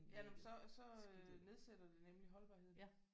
Ja nå men så så nedsætter det nemlig holdbarheden